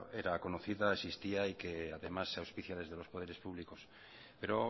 era conocida existía y que además se auspicia desde los poderes públicos pero